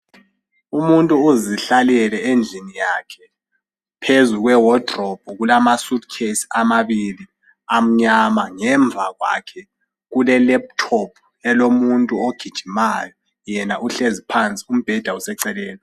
Umuntu uzihlalele phansi, endlini yakhe, eceleni kombheda. Phezu kwekhabothi yezigqoko, iwardrobe, ngelesingisi, kukhona izikhwama ezinkulu. Zimnyama, njalo ngezezigqoko. Zibukeka zintathu. Ngelokwebolekwa ngamabheki. Ngemuva kwakhe kule laptop ebukeze umuntu ogijimayo.